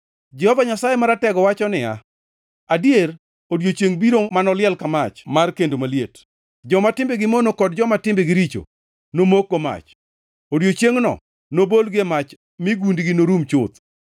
Jehova Nyasaye Maratego wacho niya, “Adier odiechiengʼ biro manoliel ka mach mar kendo maliet. Joma timbegi mono kod joma timbegi richo nomokgo mach. Odiechiengno nobolgi e mach mi gundgi norum chuth.